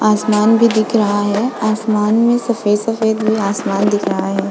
आसमान भी दिख रहा है आसमान में सफेद सफेद भी आसमान दिख रहा है।